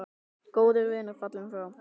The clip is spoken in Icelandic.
Góður vinur fallinn frá.